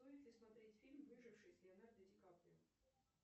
стоит ли смотреть фильм выживший с леонардо ди каприо